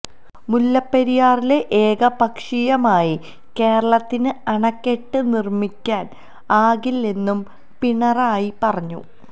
മുല്ലപ്പെരിയാറില് ഏകപക്ഷീയമായി കേരളത്തിന് അണക്കെട്ട് നിര്മ്മിക്കാന് ആകില്ലെന്നും പിണറായി പറഞ്ഞു